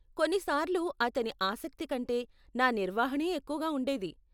కొన్ని సార్లు అతని ఆసక్తి కంటే నా నిర్వహణే ఎక్కువగా ఉండేది.